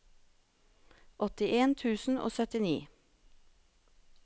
åttien tusen og syttini